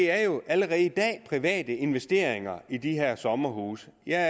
er jo allerede i dag private der investerer i de her sommerhuse jeg